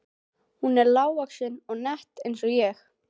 Hún var lágvaxin og nett eins og ég.